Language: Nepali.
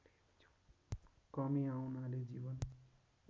कमी आउनाले जीवन